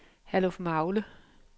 Herlufmagle